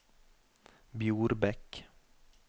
Bjorbekk